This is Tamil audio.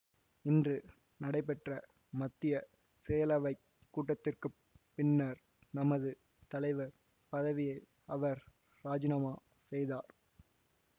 இன்று நடைபெற்ற மத்திய செயலவைக் கூட்டத்திற்கு பின்னர் தமது தலைவர் பதவியை அவர் ராஜினாமா செய்தார்